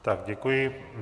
Tak děkuji.